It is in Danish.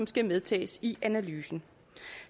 skal medtages i analysen